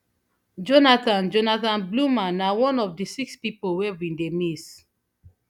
jonathan jonathan bloomer na one of di six pipo wey bin dey miss